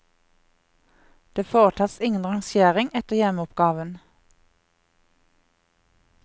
Det foretas ingen rangering etter hjemmeoppgaven.